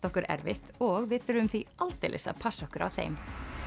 okkur erfitt og við þurfum því aldeilis að passa okkur á þeim